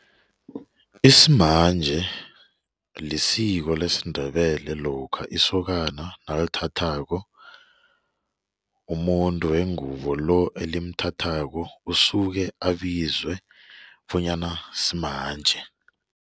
Isimanje lisiko lesiNdebele lokha isokana nalithathako umuntu wengubo lo olimthathako usuke abizwa bonyana simanje.